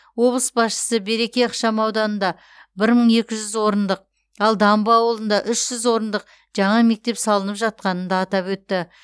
облыс басшысы береке ықшам ауданында бір мың екі жүз орындық ал дамбы ауылында үш жүз орындық жаңа мектеп салынып жатқанын да атап өтті